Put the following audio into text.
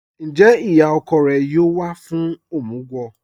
Ńjẹ́ iyá ọ̀kọ̀ rẹ̀ yóò wà fún omugwo?